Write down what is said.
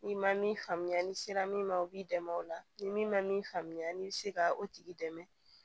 N'i ma min faamuya n'i sera min ma o b'i dɛmɛ o la ni min ma min faamuya i bɛ se ka o tigi dɛmɛ